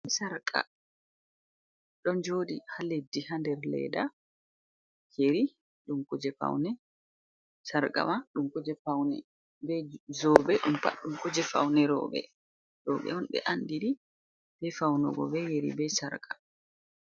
Sarka ɗo jooɗi haa leddi haa der leda, yeri ɗum kuje faune, sarkawa man ɗum kuje faune, jawe pat ɗum kuje faune roɓe, nden roɓe on ɓe anndiri bee faunugo bee yeri bee sarka.